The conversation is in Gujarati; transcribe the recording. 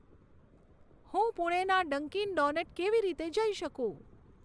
હું પુણેના ડંકીન ડોનટ કેવી રીતે જઈ શકું